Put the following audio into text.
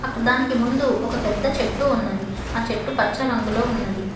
దానికి ముందు ఒక పెద్ద చెట్టు ఉన్నది ఆ చెట్టు పచ్చ రంగులో ఉన్నది.